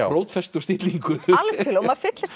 rótfestu og stillingu algjörlega og maður fyllist